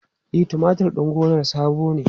E, tumatur din gonarsa sabo ne.